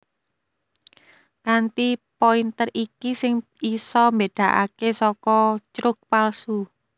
Kanthi pointer iki sing bisa mbédakaké saka crux palsu